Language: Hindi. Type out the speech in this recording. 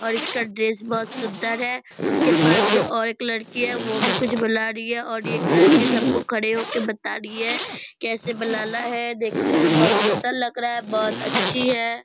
और इसका ड्रेस बहुत सुंदर है उसके पास में और एक लड़की है वो भी कुछ बना रही है और एक लड़की सब को खड़े हो के बता रही है कैसे बनाना है देखने में बहुत सुंदर लग रहा है बहुत अच्छी है।